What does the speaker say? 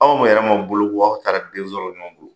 Aw ma yɛrɛ ma boloko, aw taara den sɔrɔ ɲɔgɔn bolo.